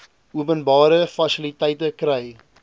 openbare fasiliteite kry